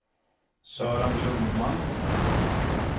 Sören Lundmark